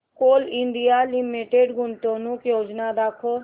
Coal India Limited गुंतवणूक योजना दाखव